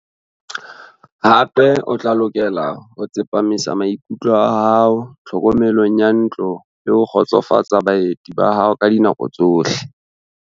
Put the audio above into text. Hape o tla lokela ho tsepamisa maikutlo a hao tlhokomelong ya ntlo le ho kgotsofatsa baeti ba hao ka dinako tsohle.